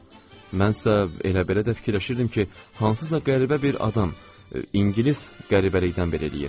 Mənsə elə-belə də fikirləşirdim ki, hansısa qəribə bir adam ingilis qəribəlikdən belə eləyib.